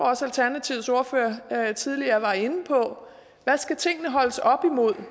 også alternativets ordfører tidligere var inde på hvad skal tingene holdes op imod